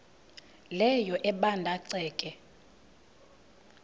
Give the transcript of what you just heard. leyo ebanda ceke